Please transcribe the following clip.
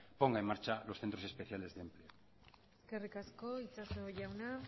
ponga en marcha los centros especiales de empleo eskerrik asko itxaso jauna